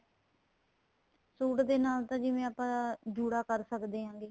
suit ਦੇ ਨਾਲ ਤਾਂ ਜਿਵੇਂ ਆਪਾਂ ਜੂੜਾ ਕਰ ਸਕਦੇ ਹੈਗੇ